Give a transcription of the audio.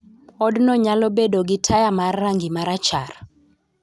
Odno nyalo bedo gi taya mar rangi ma rachar